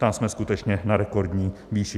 Tam jsme skutečně na rekordní výši.